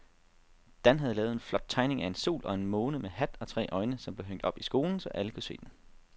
Dan havde lavet en flot tegning af en sol og en måne med hat og tre øjne, som blev hængt op i skolen, så alle kunne se den.